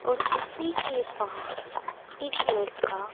और उसी के पास एक लड़का--